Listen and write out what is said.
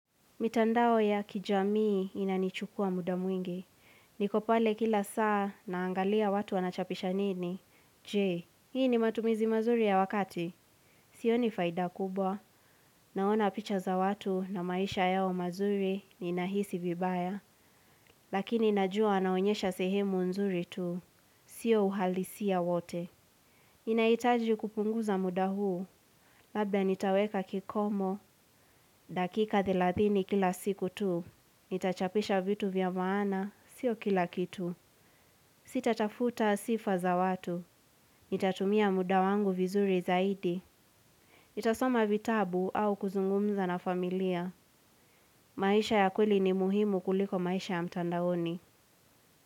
Mitandao ya kijamii inanichukua muda mwingi. Niko pale kila saa naangalia watu wanachapisha nini. Je, hii ni matumizi mazuri ya wakati? Sioni faida kubwa. Naona picha za watu na maisha yao mazuri ninahisi vibaya. Lakini najua naonyesha sehemu nzuri tu. Sio uhalisi ya wote. Inahitaji kupunguza muda huu. Labda nitaweka kikomo. Dakika thelathini kila siku tu. Nitachapisha vitu vya maana, sio kila kitu. Sitatafuta sifa za watu. Nitatumia muda wangu vizuri zaidi. Nitasoma vitabu au kuzungumza na familia. Maisha ya kweli ni muhimu kuliko maisha ya mtandaoni.